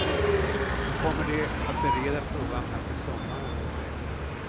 Nu kommer de att bereda frågan fram till sommaren, säger han.